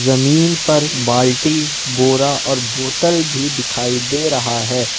जमीन पर बाल्टी बोरा और बोतल भी दिखाई दे रहा है ।